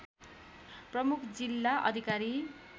प्रमुख जिल्ला अधिकारी